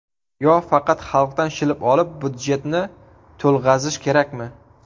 Yo faqat xalqdan shilib olib, budjetni to‘lg‘azish kerakmi?..